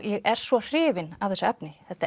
ég er svo hrifin af þessu efni